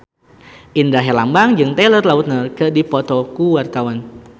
Indra Herlambang jeung Taylor Lautner keur dipoto ku wartawan